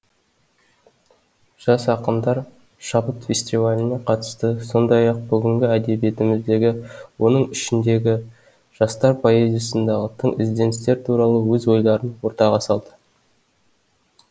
жас ақындар шабыт фестиваліне қатысты сондай ақ бүгінгі әдебиетіміздегі оның ішіндегі жастар поэзиясындағы тың ізденістер туралы өз ойларын ортаға салды